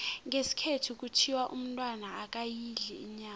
ngesikhethu kuthiwa umntwana akayidli inyama